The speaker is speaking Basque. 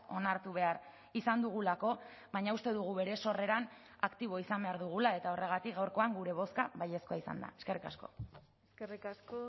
onartu behar izan dugulako baina uste dugu bere sorreran aktiboa izan behar dugula eta horregatik gaurkoan gure bozka baiezkoa izan da eskerrik asko eskerrik asko